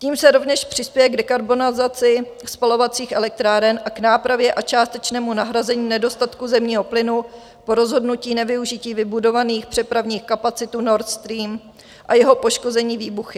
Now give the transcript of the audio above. Tím se rovněž přispěje k dekarbonizaci spalovacích elektráren a k nápravě a částečnému nahrazení nedostatku zemního plynu po rozhodnutí nevyužití vybudovaných přepravních kapacit Nord Stream a jeho poškození výbuchy.